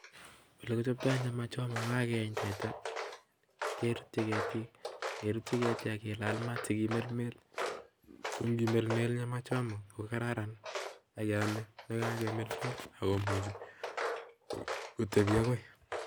Olekichoptai penda nekakibel. Kimelmeli korok sikopit kotepi akoi